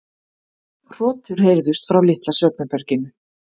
Hrotur heyrðust frá litla svefnherberginu.